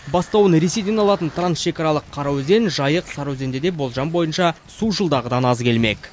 бастауын ресейден алатын трансшекаралық қараөзен жайық сарыөзенде де болжам бойынша су жылдағыдан аз келмек